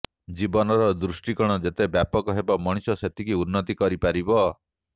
ଜୀବନର ଦୃଷ୍ଟିକୋଣ ଯେତେ ବ୍ୟାପକ ହେବ ମଣିଷ ସେତିକି ଉନ୍ନତି କରିପାରିବ